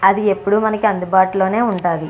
అది ఎప్పుడు మనకి అందుబాటులోనే ఉంటది.